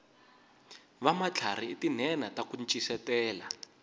vamatlharhi i tinhenha taku ncisetela